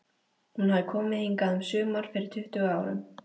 Hún hafði komið hingað um sumar fyrir tuttugu árum.